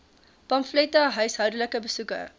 pamflette huishoudelike besoeke